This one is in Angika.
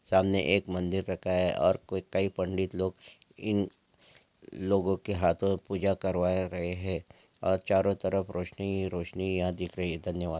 सामने एक मंदिर रखा है और कई पंडित लोग इन लोगों के हाथों पूजा करवा रहे हैं और चारों तरफ रोशनी ही रोशनी यहाँ दिख रही है धन्यवाद।